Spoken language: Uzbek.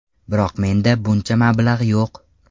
Biroq menda buncha mablag‘ yo‘q.